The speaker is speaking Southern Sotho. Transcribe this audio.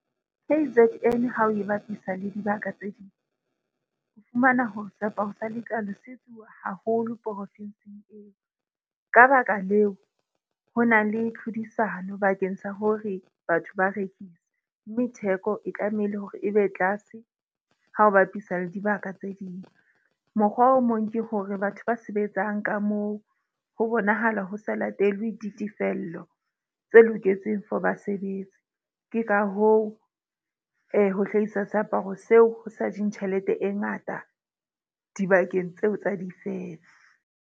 K_Z_N ha o e bapisa le dibaka tse ding, o fumana hore seaparo sa letlalo se etsuwa haholo profinsing eo. Ka baka leo, ho na le tlhodisano bakeng sa hore batho ba rekisa. Mme theko e tlamehile hore e be tlase ha o bapisa le dibaka tse ding. Mokgwa o mong ke hore batho ba sebetsang ka moo ho bonahala ho sa latelwe ditefello tse loketseng for basebetsi. Ke ka hoo ho hlahisa seaparo seo ho sa jeng tjhelete e ngata dibakeng tseo tsa di .